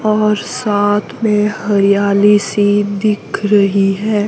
और साथ में हरियाली सी दिख रहीं हैं।